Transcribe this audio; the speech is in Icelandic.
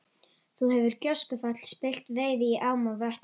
Þá hefur gjóskufall spillt veiði í ám og vötnum.